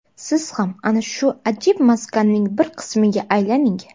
Siz ham ana shu ajib maskanning bir qismiga aylaning.